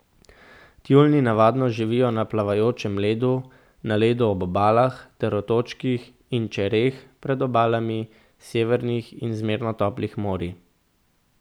Tjulnji navadno živijo na plavajočem ledu, na ledu ob obalah ter otočkih in čereh pred obalami severnih in zmerno toplih morij.